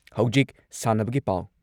ꯍꯧꯖꯤꯛ ꯁꯥꯟꯅꯕꯒꯤ ꯄꯥꯎ